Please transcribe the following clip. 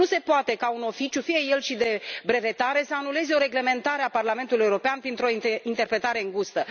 Nu se poate ca un oficiu, fie el și de brevetare, să anuleze o reglementare a Parlamentului European printr o interpretare îngustă.